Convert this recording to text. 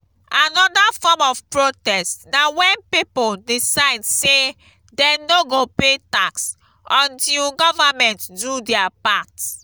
another form of protest na when pipo decide say dem no go pay tax until government do their part